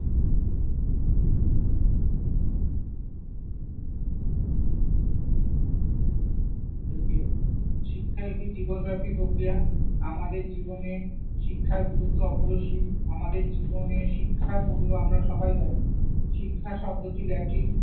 thank you শিক্ষা একটি জীবনব্যাপী প্রক্রিয়া। আমাদের জীবনে শিক্ষার গুরুত্ব অপরিসীম। আমাদের জীবনে শিক্ষার মূল্য আমরা সবাই জানি। শিক্ষা শব্দটি ল্যাটিন